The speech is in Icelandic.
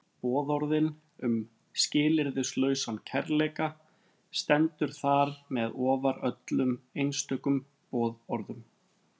Boðorðið um skilyrðislausan kærleika stendur þar með ofar öllum einstökum boðorðum.